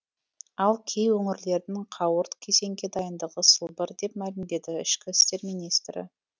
ал кей өңірлердің қауырт кезеңге дайындығы сылбыр деп мәлімдеді ішкі істер министрі